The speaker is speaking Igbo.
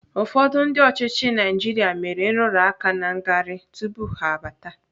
Ụfọdụ ndị ọchịchị obodo Naijiria mere nrụrụaka na ngarị tupu ha abata.